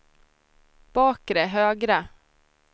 bakre högra